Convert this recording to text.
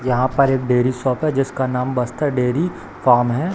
यहाँ पर एक डेरी शॉप है जिसका नाम बस्तर डेरी फार्म है।